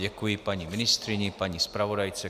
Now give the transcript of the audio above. Děkuji paní ministryni, paní zpravodajce.